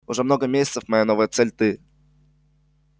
уже много месяцев моя новая цель ты